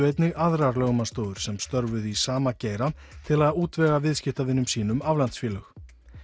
einnig aðrar lögmannsstofur sem störfuðu í sama geira til að útvega viðskiptavinum sínum aflandsfélög